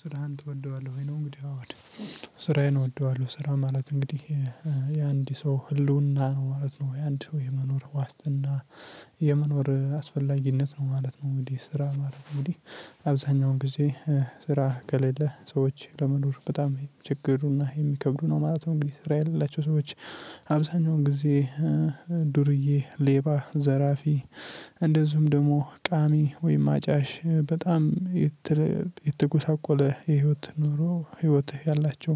ስራህን ትወደዋለህ ወይ ነው እንግዲህ አወ እወደዋለሁ ስራየን እወደዋለሁ ስራ ማለት እንግዲህ የአንድ ሰው ህልውና ነው ማለት ነው የአንድ ሰው የመኖር ዋስትና የመኖር አስፈላጊነት ነው ማለት ነው እንግዲህ ስራ አብዛኛውን ጊዜ ስራ ከሌለ ሰዎች ለመኖር በጣም ችግርና የሚከብዱ ነው ማለት ነው እንግዲህ ስራ የሌላቸው ሰዎች አብዛኛው ጊዜ ዱርዬ፣ ሌባ፣ ዘራፊ እንደዚሁም ደግሞ ቃሚ ወይም አጫሽ በጣም የተጎሳቆለ የህይወት ኑሮ ህይወት ያላቸው